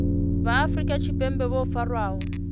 vha afrika tshipembe vho farwaho